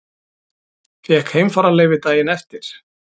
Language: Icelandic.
Fékk heimfararleyfi daginn eftir.